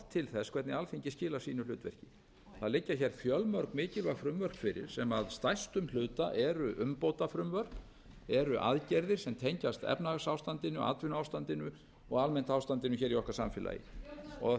til þess hvernig alþingi skilar sínu hlutverki það liggja fjölmörg mikilvæg frumvörp fyrir sem að stærstum hluta eru umbótafrumvörp eru aðgerðir sem tengjast efnahagsástandinu atvinnuástandinu og almennt ástandinu í okkar samfélagi að